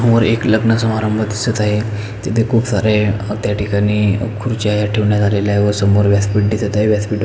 समोर एक लग्न समारंभ दिसत आहे तेथे खुप सारे अ त्याठिकाणी अ खुर्च्या ह्या ठेवण्यात आलेल्या आहेत व समोर व्यासपिठ दिसत आहे व्यासपिठा --